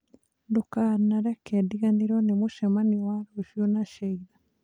Ndũkanareke ndiriganĩrwo nĩ mũcemanio wa rũciũ na Sheila